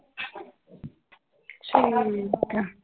ਠੀਕ ਆ l